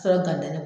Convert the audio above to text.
Sɔrɔ ka dogo ne